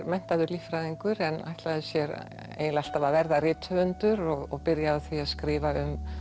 menntaður líffræðingur en ætlaði sér eiginlega alltaf að verða rithöfundur og byrjaði á því að skrifa um